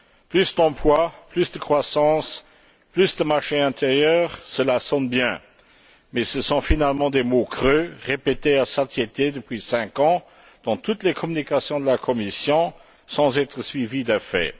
Plus d'emplois, plus de croissance, plus de marché intérieur, cela sonne bien mais ce sont finalement des mots creux, répétés à satiété depuis cinq ans dans toutes les communications de la Commission sans être suivis d'effets.